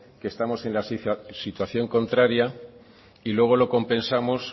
que estamos en la situación contraria y luego lo compensamos